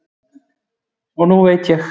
og nú ég veit